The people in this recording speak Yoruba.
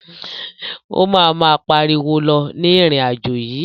O ma ma pariwo lọ ní irin-ajo yii.